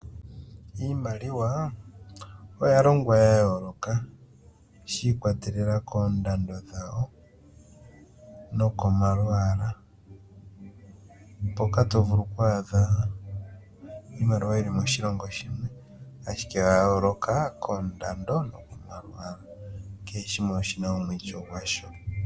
Iimaliwa oya longwa ya yooloka shi ikwatelela koondando dhayo, nokomalwaala mpoka to vulu kwaadha iimaliwa yi li moshilongo shimwe ashike oya yooloka koondando noko nokomalwaala. Kehe shimwe oshi na omwiityo gwasho.